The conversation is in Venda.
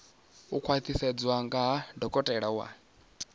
u khwaṱhisedzwa nga dokotela wa